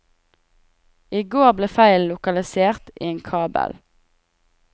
I går ble feilen lokalisert i en kabel.